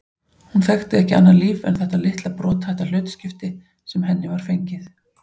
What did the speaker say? Hún þekkti ekki annað líf en þetta litla brothætta hlutskipti sem henni var fengið.